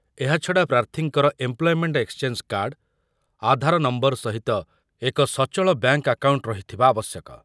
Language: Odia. ଏହାଛଡ଼ା ପ୍ରାର୍ଥୀଙ୍କର employment exchange card, Aadhaar number ସହିତ ଏକ ସଚଳ ବ୍ୟାଙ୍କ୍‌ ଆକାଉଣ୍ଟ ରହିଥିବା ଆବଶ୍ୟକ ।